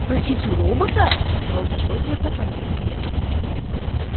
спросить у робота брови богерта полезли вверх